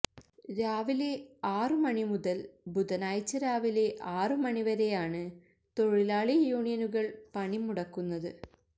രാവിലെ ആറുമണി മുതല് ബുധനാഴ്ച രാവിലെ ആറുമണി വരെയാണ് തൊഴിലാളി യൂണിയനുകള് പണിമുടക്കുന്നത്